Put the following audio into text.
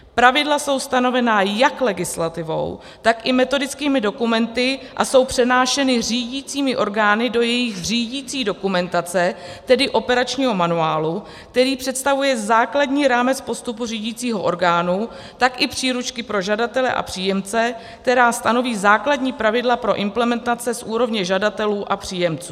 Pravidla jsou stanovena jak legislativou, tak i metodickými dokumenty a jsou přenášena řídicími orgány do jejich řídicí dokumentace, tedy operačního manuálu, který představuje základní rámec postupu řídicího orgánu, tak i příručky pro žadatele a příjemce, která stanoví základní pravidla pro implementace z úrovně žadatelů a příjemců.